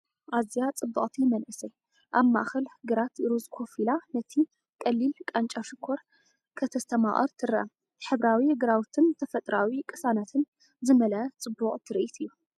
ኣዝያ ጽብቕቲ መንእሰይ ኣብ ማእከል ግራት ሩዝ ኮፍ ኢላ ነቲ ቀሊልቃንጫ ሽኮር ከተስተማቕር ትርአ። ሕብራዊ ግራውትን ተፈጥሮኣዊ ቅሳነትን ዝመልአ ጽቡቕ ትርኢት እዩ።